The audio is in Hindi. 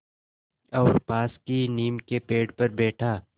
और पास की नीम के पेड़ पर बैठा